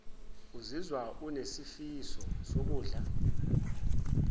uzizwa unesifiso sokudla